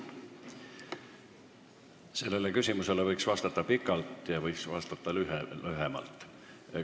Sellele küsimusele võib vastata pikalt ja võib vastata lühemalt.